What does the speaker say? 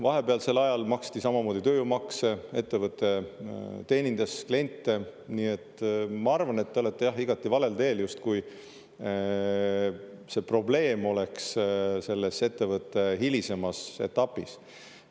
Vahepealsel ajal maksti samamoodi tööjõumakse, ettevõte teenindas kliente, nii et ma arvan, et te olete igati valel teel, justkui probleem oleks selles ettevõtte hilisemas etapis.